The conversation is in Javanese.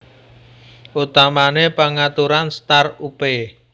Utamané pangaturan start upé